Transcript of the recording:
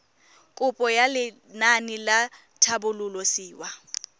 kopo ya lenaane la tlhabololosewa